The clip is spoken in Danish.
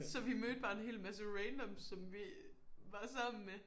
Så vi mødte bare en hel masse random som vi var sammen med